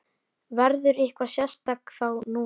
Verður eitthvað sérstakt þá núna?